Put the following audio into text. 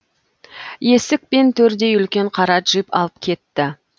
есік пен төрдей үлкен қара джип алып кетті